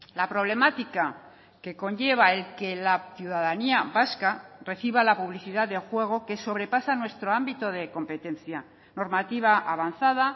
la problemática que conlleva el que la ciudadanía vasca reciba la publicidad de juego que sobrepasa nuestro ámbito de competencia normativa avanzada